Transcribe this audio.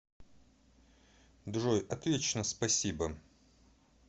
джой отлично спасибо